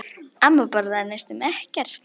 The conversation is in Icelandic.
Amma borðaði næstum ekkert.